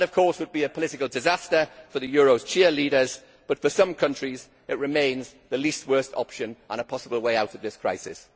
That would be a political disaster for the euro's cheerleaders, but for some countries it remains the least worst option and a possible way out of this crisis.